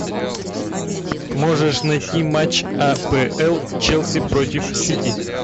можешь найти матч апл челси против сити